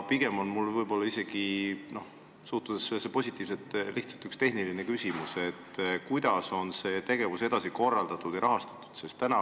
Ma suhtun sellesse pigem positiivselt, aga mul on üks tehniline küsimus: kuidas seda tegevust edasi korraldatakse ja rahastatakse?